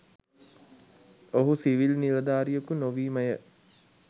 ඔහු සිවිල් නිලධාරියකු නොවීමය.